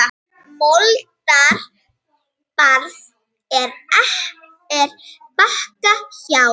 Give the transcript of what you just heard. Moldar barð er Bakka hjá.